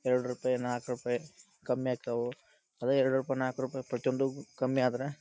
ಎರಡ ರೂಪಾಯಿ ನಾಕ ರೂಪಾಯಿ ಕಮ್ಮಿ ಆಗ್ತಾವು. ಅದೇ ಎರಡು ರೂಪಾಯಿ ನಾಕು ರೂಪಾಯಿ ಪ್ರತಿಯೊಂದುಕು ಕಮ್ಮಿ ಆದರ .